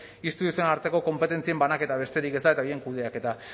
instituzioen arteko konpetentzien banaketa besterik ez da eta horien kudeaketa